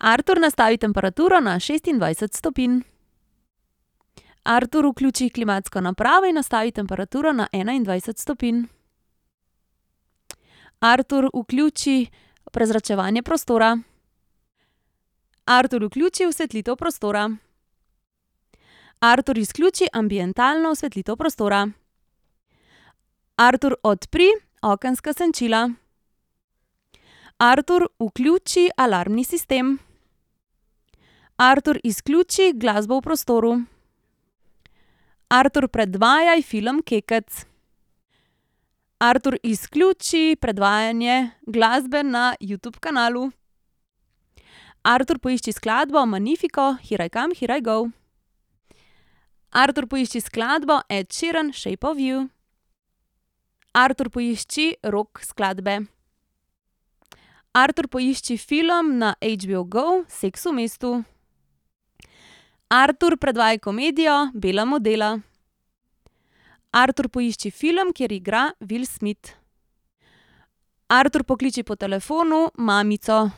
Artur, nastavi temperaturo na šestindvajset stopinj. Artur, vključi klimatsko napravo in nastavi temperaturo na enaindvajset stopinj. Artur, vključi prezračevanje prostora. Artur, vključi osvetlitev prostora. Artur, izključi ambientalno osvetlitev prostora. Artur, odpri okenska senčila. Artur, vključi alarmni sistem. Artur, izključi glasbo v prostoru. Artur, predvajaj film Kekec. Artur, izključi predvajanje glasbe na Youtube kanalu. Artur, poišči skladbo Magnifico Hir aj kam hir aj go. Artur, poišči skladbo Ed Sheeran Shape of you. Artur, poišči rock skladbe. Artur, poišči film na HBOgo Seks v mestu. Artur, predvajaj komedijo Bela modela. Artur, poišči film, kjer igra Will Smith. Artur, pokliči po telefonu mamico.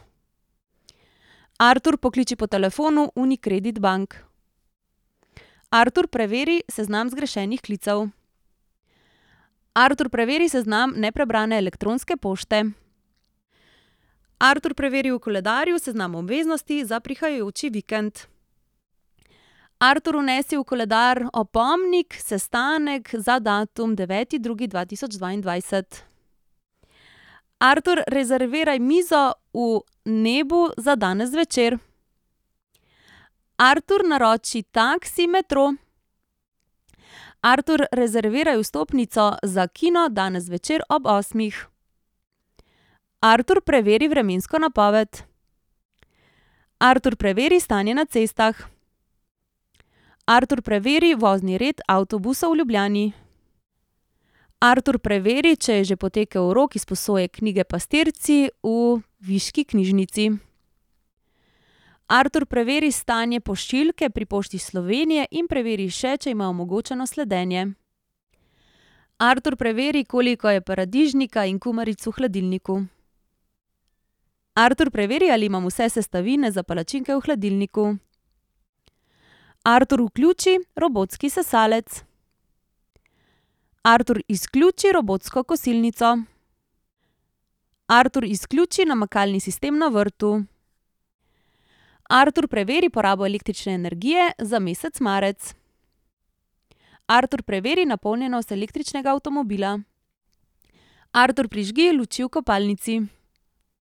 Artur, pokliči po telefonu Unicredit Bank. Artur, preveri seznam zgrešenih klicev. Artur, preveri seznam neprebrane elektronske pošte. Artur, preveri v koledarju seznam obveznosti za prihajajoči vikend. Artur, vnesi v koledar opomnik sestanek za datum deveti drugi dva tisoč dvaindvajset. Artur, rezerviraj mizo v Nebu za danes zvečer. Artur, naroči taksi Metro. Artur, rezerviraj vstopnico za kino danes zvečer ob osmih. Artur, preveri vremensko napoved. Artur, preveri stanje na cestah. Artur, preveri vozni red avtobusov v Ljubljani. Artur, preveri, če je že potekel rok izposoje knjige Pastirci v viški knjižnici. Artur, preveri stanje pošiljke pri Pošti Slovenije in preveri še, če ima omogočeno sledenje. Artur, preveri, koliko je paradižnika in kumaric v hladilniku. Artur, preveri, ali imam vse sestavine za palačinke v hladilniku. Artur, vključi robotski sesalec. Artur, izključi robotsko kosilnico. Artur, izključi namakalni sistem na vrtu. Artur, preveri porabo električne energije za mesec marec. Artur, preveri napolnjenost električnega avtomobila. Artur, prižgi luči v kopalnici.